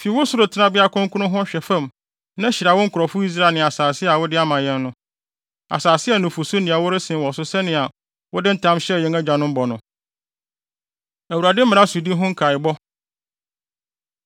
Fi wo soro tenabea kronkron hɔ hwɛ fam na hyira wo nkurɔfo Israel ne asase a wode ama yɛn no—asase a nufusu ne ɛwo resen wɔ so sɛnea wode ntam hyɛɛ yɛn agyanom bɔ no.” Awurade Mmara Sodi Ho Nkaebɔ